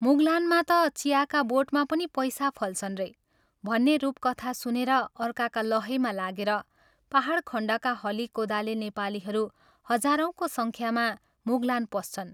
मुगलानमा ता चियाका बोटमा पनि पैसा फल्छन् रे भन्ने रूपकथा सुनेर अर्काका लहैमा लागेर पाहाडखण्डका हली कोदाले नेपालीहरू हजारौंका संख्यामा मुगलान पस्छन्।